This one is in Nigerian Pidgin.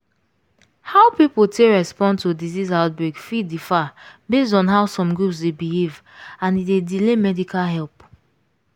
how people take respond to disease outbreak fit differ based on how some groups dey behave and e dey delay medical help.